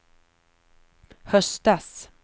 höstas